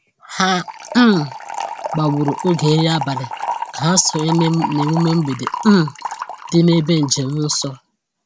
Ha um gbagburu oge nri abalị ka ha sonye n’emume mgbede um dị n’ebe njem nsọ.